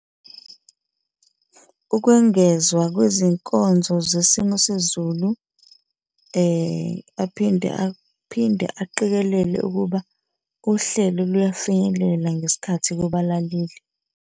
Ukwengezwa kwezinkonzo zesimo sezulu, aphinde aphinde aqikelele ukuba uhlelo luyafinyelela ngesikhathi kubalaleli.